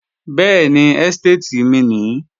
Bẹ́ẹ̀ni, ẹ́stéètì mi nìí